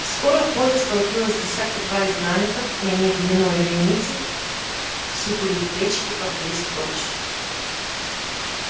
скоро в поле столпилось десятка два изгнанников и они длинной вереницей ссутулив плечики побрели прочь